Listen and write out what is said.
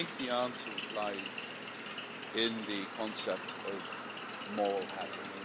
I think the answer lies in the concept of moral hazard.